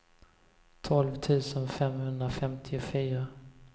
tolv tusen femhundrafemtiofyra